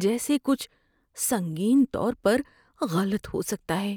جیسے کچھ سنگین طور پر غلط ہو سکتا ہے۔